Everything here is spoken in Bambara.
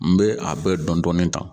N bɛ a bɛɛ dɔndɔni ta